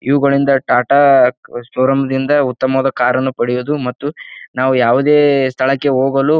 ಇವುಗಳಿಂದ Tata showroom ನಿಂದ ಉತ್ತಮವಾದ ಕಾರ್ ಅನ್ನು ಪಡೆಯುವುದು ಮತ್ತು ನಾವು ಯಾವುದೇ ಸ್ಥಳಕ್ಕೆ ಹೋಗಲು--